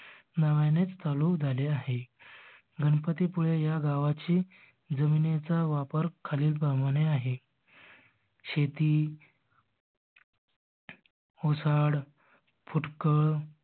नव्यानेच चालू झाले आहे. गणपती पुळे ह्या गावाची जमिनीचा वापर खालील प्रमाणे आहे. शेती ओसाड फुटकड